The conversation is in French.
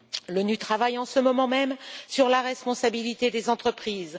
L'ONU travaille en ce moment même sur la responsabilité des entreprises.